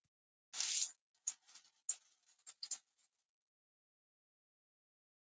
Sturlugata liggur um lóð Háskóla Íslands.